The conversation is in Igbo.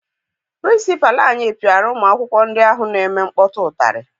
Pịrịnsịpalụ anyị piara ụmụ akwụkwọ ndị ahụ na-eme nkpọtụ ụtarị.